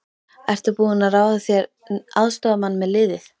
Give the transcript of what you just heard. Ertu búinn að ráða þér aðstoðarmann með liðið?